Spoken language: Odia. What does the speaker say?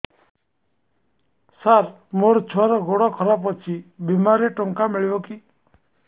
ସାର ମୋର ଛୁଆର ଗୋଡ ଖରାପ ଅଛି ବିମାରେ ଟଙ୍କା ମିଳିବ କି